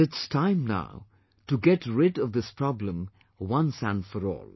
But it's time now to get rid of this problem once and for all